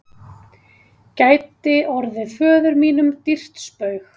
gæti orðið föður mínum dýrt spaug.